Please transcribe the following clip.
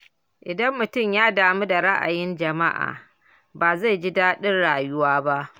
Idan mutum ya damu da ra’ayin jama’a, ba zai ji daɗin rayuwa ba.